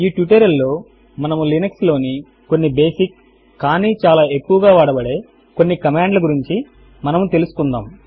ఈ ట్యూటోరియల్ లో మనము లినక్స్ లోని కొన్ని బేసిక్ కానీ చాలా ఎక్కువగా వాడబడే కొన్ని కమాండ్ ల గురించి మనము తెలుసుకుందాము